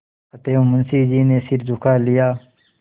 अतएव मुंशी जी ने सिर झुका लिया